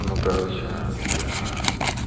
ну короче я